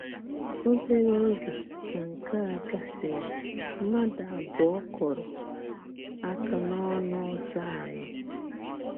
“Óbèrè ògé ka nke a gàsịrị, mmádụ àbùọ̀ kùrụ̀ àká n’ọnụ̀ ọ̌́zọ̀ anyị.”